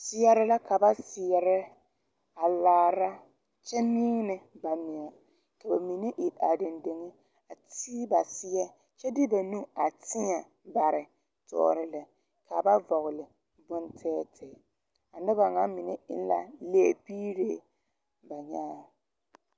Seɛre la ka ba seɛrɛ a laara kyɛ miine ba meŋɛ ka ba mine iri are dendeŋe a te ba seɛ kyɛ de ba nu a tēɛ bare tɔɔre lɛ ka ba vɔɔli bontɛɛtɛɛ a noba ŋa mine eŋ la lɛbiiree ba nyaaŋ.